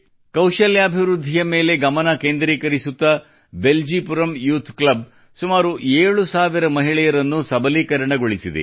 ಕೌಶಲ್ಯಾಭಿವೃದ್ಧಿಯ ಮೇಲೆ ಗಮನ ಕೇಂದ್ರೀಕರಿಸುತ್ತಾ ಬೆಲ್ಜಿಪುರಂ ಯೂಥ್ ಕ್ಲಬ್ ಸುಮಾರು 7000 ಮಹಿಳೆಯರನ್ನು ಸಬಲೀಕರಣಗೊಳಿಸಿದೆ